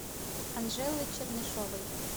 анжелы чернышовой